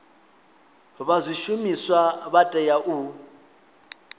vha zwishumiswa vha tea u